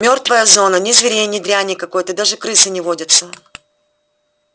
мёртвая зона ни зверей ни дряни какой даже крысы не водятся